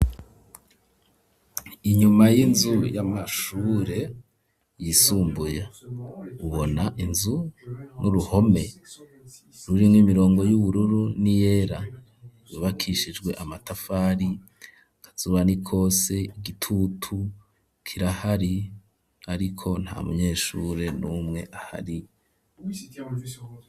Inyuma y'inzu y'amashure yisumbuye ubona inzu n'uruhome ruri mw' imirongo y'ubururu ni yera yubakishijwe amatafari akazuba nikose igitutu kirahari ariko nta munyeshure n'umwe ahari.